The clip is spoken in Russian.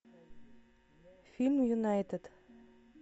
фильм юнайтед